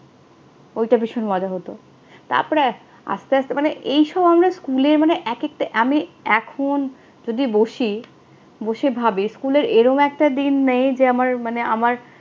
ঐটা ভীষণ মজা হতো। তারপর আস্তে আস্তে মানে এই সময় না স্কুলে মানে এক একটা, আমি এখন যদি বসি, বসে ভাবি স্কুলের এরম একটা দিন নেই যে আমার মানে আমার